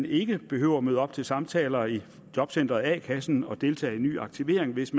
ikke behøver at møde op til samtaler i jobcenteret a kassen og deltage i ny aktivering hvis